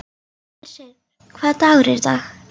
Hersir, hvaða dagur er í dag?